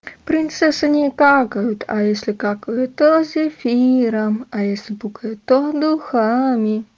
принцессы не какают а если какают то зефиром а если пукают то духами